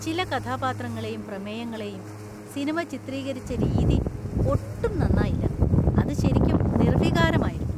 ചില കഥാപാത്രങ്ങളെയും പ്രമേയങ്ങളെയും സിനിമ ചിത്രീകരിച്ച രീതി ഒട്ടും നന്നായില്ല. അത് ശെരിയ്ക്കും നിർവികാരമായിരുന്നു .